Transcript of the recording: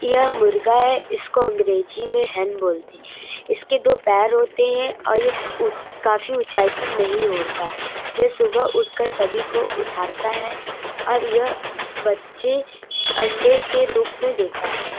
यह मुर्गा है इसको अंग्रेजी में हेन बोलते है। इसके दो पैर होते है और यह ऊंच काफी ऊंचाई पर नहीं उड़ता। यह सुबह उठकर सभी को उठाता है और यह बच्चे अंडे के रूप में देता है।